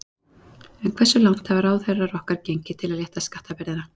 En hversu langt hafa ráðherrar okkar gengið til að létta skattabyrðina?